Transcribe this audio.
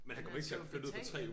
Men han skal jo betale